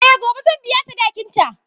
Eh gobe zan biya sadakinta.